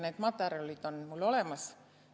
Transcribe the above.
Need materjalid on mul olemas.